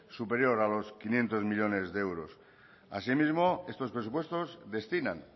superior a los quinientos millónes de euros así mismo estos presupuestos destinan